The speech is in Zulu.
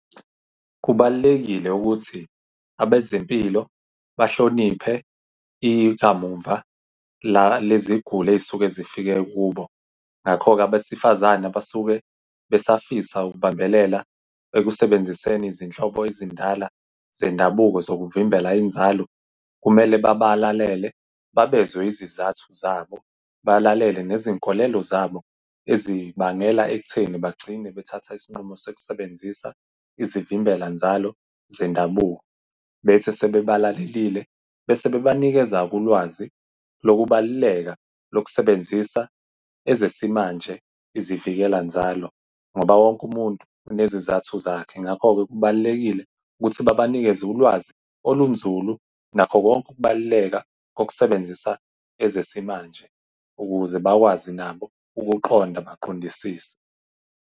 Kubalulekile ukuthi abezempilo bahloniphe ikamumva leziguli ey'suke zifike kubo. Ngakho-ke abesifazana basuke besafisa ukubambelela ekusebenziseni izinhlobo ezindala zendabuko zokuvimbela inzalo, kumele babalalele, babezwe izizathu zabo, balalele nezinkolelo zabo, ezibangela ekutheni bagcine bethatha isinqumo sokusebenzisa izivimbela nzalo zendabuko. Bethi sebebalalelile bese bebanikeza-ke ulwazi lokubaluleka lokusebenzisa ezesimanje izivikela nzalo, ngoba wonke umuntu unezizathu zakhe. Ngakho-ke kubalulekile ukuthi babanikeze ulwazi olunzulu ngakho konke ukubaluleka kokusebenzisa ezesimanje ukuze bakwazi nabo ukuqonda, baqondisise.